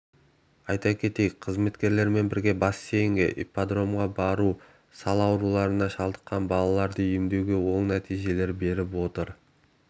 әлеуметтік қызметкерлермен бірге бассейнге ипподромға бару сал ауруына шалдыққан балаларды емдеуде оң нәтижелер беріп отыр